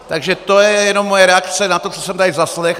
Takže to je jenom moje reakce na to, co jsem tady zaslechl.